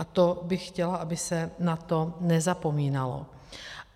A to bych chtěla, aby se na to nezapomínalo.